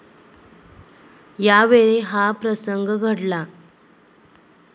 यावेळी हा प्रसंग घडला.